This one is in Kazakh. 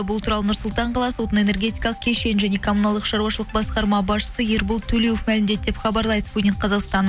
бұл туралы нұр сұлтан қаласы отын энергетикалық кешен және коммуналдық шаруашылық басқарма басшысы ербол төлеуов мәлімдеді деп хабарлайды спутник қазақстан